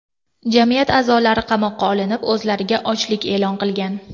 Jamiyat a’zolari qamoqqa olinib, o‘zlariga ochlik e’lon qilgan.